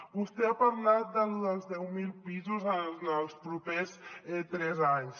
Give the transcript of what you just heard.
vostè ha parlat de lo dels deu mil pisos en els propers tres anys